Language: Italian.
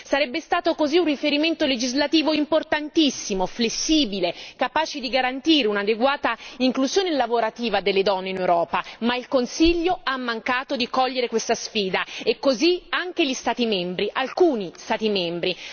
Sarebbe stato così un riferimento legislativo importantissimo, flessibile, capace di garantire un'adeguata inclusione lavorativa delle donne in Europa, ma il Consiglio ha mancato di cogliere questa sfida e così anche gli Stati membri, alcuni Stati membri.